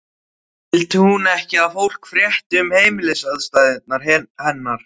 Vildi hún ekki að fólk frétti um heimilisaðstæður hennar?